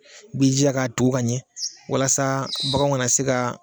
B'i jija k'a tugu ka ɲɛ walasa baganw kana se ka